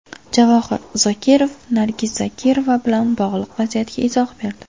Javohir Zokirov Nargiz Zokirova bilan bog‘liq vaziyatga izoh berdi.